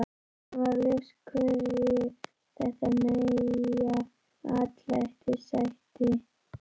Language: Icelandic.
Honum varð ljóst hverju þetta nýja atlæti sætti.